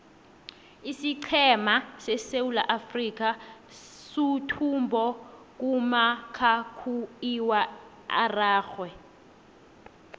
isiqhema seswulaafrikha suthumbo kumakhakhuiwa araxhwe